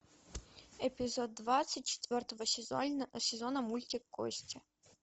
эпизод двадцать четвертого сезона мультик кости